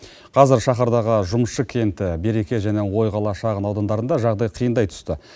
қазір шаһардағы жұмысшы кенті береке және ойқала шағын аудандарында жағдай қиындай түсті